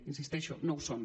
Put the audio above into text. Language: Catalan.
hi insisteixo no ho són